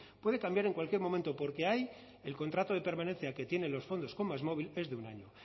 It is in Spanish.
puede cambiar en cualquier momento porque ahí el contrato de pertenencia que tienen los fondos con másmóvil es de un año